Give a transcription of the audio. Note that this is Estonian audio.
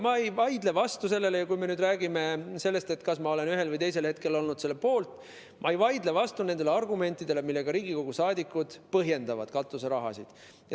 Ma ei vaidle vastu sellele , ma ei vaidle vastu nendele argumentidele, millega Riigikogu liikmed katuseraha vajalikkust põhjendavad.